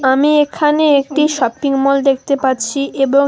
আমি এখানে একটি শপিংমল দেখতে পাচ্ছি এবং--